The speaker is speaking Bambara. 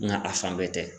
Nka a fan bɛɛ tɛ